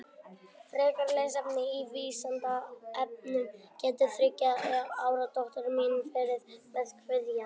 Frekara lesefni á Vísindavefnum Getur þriggja ára dóttir mín verið með kvíða?